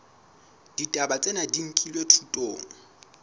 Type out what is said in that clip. ditaba tsena di nkilwe thutong